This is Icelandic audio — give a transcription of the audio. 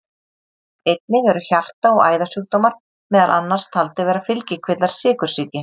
Einnig eru hjarta- og æðasjúkdómar meðal annars taldir vera fylgikvillar sykursýki.